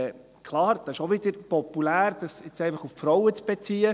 Klar, es ist auch wieder populär, dies einfach auf die Frauen zu beziehen.